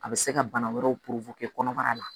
A bɛ se ka bana wɛrɛw kɔnɔbara la